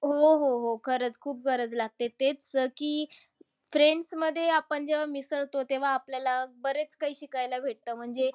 हो, हो, हो. खरंच! खूप गरज लागते. तेच की friends मध्ये जेव्हा आपण मिसळतो तेव्हा आपल्याला बरेच काही शिकायला भेटतं. म्हणजे